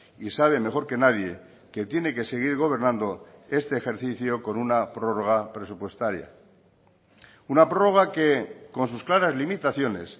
y sabe mejor que nadie que tiene que seguir gobernando este ejercicio con una prórroga presupuestaria una prórroga que con sus claras limitaciones